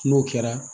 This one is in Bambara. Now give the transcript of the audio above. N'o kɛra